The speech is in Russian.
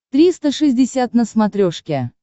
триста шестьдесят на смотрешке